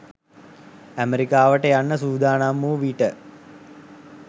ඇමරිකාවට යන්නට සූදානම් වූ විට